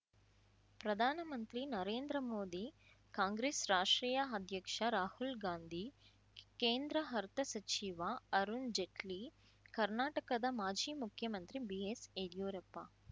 ಪ್ರಧಾನಮಂತ್ರಿ ನರೇಂದ್ರಮೋದಿ ಕಾಂಗ್ರೆಸ್ ರಾಷ್ಟ್ರೀಯ ಅಧ್ಯಕ್ಷ ರಾಹುಲ್‌ಗಾಂಧಿ ಕೇಂದ್ರ ಅರ್ಥ ಸಚಿವ ಅರುಣ್‌ಜೇಟ್ಲಿ ಕರ್ನಾಟಕದ ಮಾಜಿ ಮುಖ್ಯಮಂತ್ರಿ ಬಿಎಸ್ ಯಡ್ಯೂರಪ್ಪ